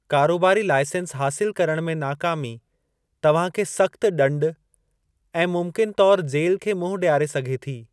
कारोबारी लाइसंस हासिलु करण में नाकामी तव्हां खे सख़्तु ॾंडु ऐं मुमकिनु तौरु जेल खे मुंहुं ॾियारे सघे थी।